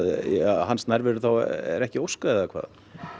hans nærveru er þá ekki óskað eða hvað